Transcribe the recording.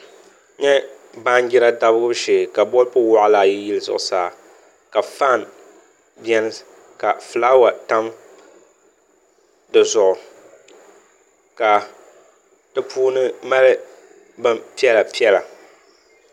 N nyɛ baanjira damgibu shee ka bolfu waɣala ayi yili zuɣusaa ka faan biɛni ka fulaawa tam dizuɣu ka di puuni mali bin piɛla piɛla